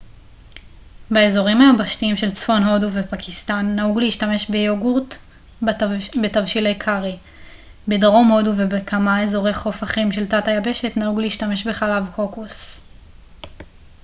באזורים היבשתיים של צפון הודו ופקיסטן נהוג להשתמש ביוגורט בתבשילי קארי בדרום הודו ובכמה אזורי חוף אחרים של תת היבשת נהוג להשתמש בחלב קוקוס